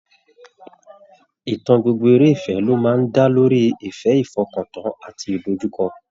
Ìtàn gbogbo eré ìfẹ́ ló máa ń dá lórí ìfẹ́, ìfọkàntán àti ìdojúkọ